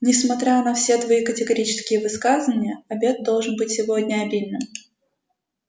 несмотря на все твои категорические высказывания обед должен быть сегодня обильным